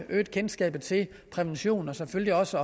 øget kendskabet til prævention og selvfølgelig også